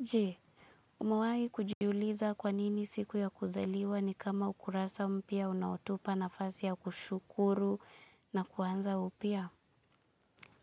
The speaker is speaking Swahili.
Jee, umewai kujuliza kwanini siku ya kuzaliwa ni kama ukurasa mpya unaotupa nafasi ya kushukuru na kuanza upya?